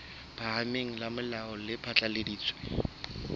phahameng la molao le phatlaladitse